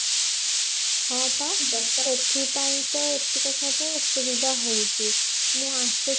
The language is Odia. ହଁ ପା ସେଥିପାଇଁ ତ ଏତିକ ସବୁ ଅସୁବିଧା ହଉଛି ମୁଁ ଆସେ